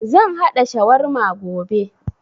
Zan haɗa shawarma gobe